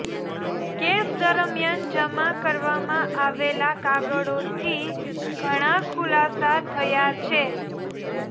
case દરમિયાન જમા કરવામાં આવેલા કાગળોથી ઘણા ખુલાસા થયા છે